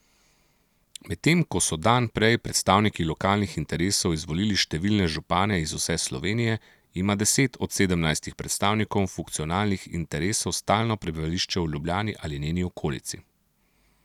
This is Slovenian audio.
Medtem ko so dan prej predstavniki lokalnih interesov izvolili številne župane iz vse Slovenije, ima deset od sedemnajstih predstavnikov funkcionalnih interesov stalno prebivališče v Ljubljani ali njeni okolici.